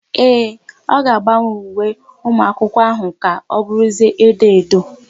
Ee, ọ ga-agbanwe uwe ụmụakwụkwọ áhụ̀ ka ọ bụrụzie edo edo.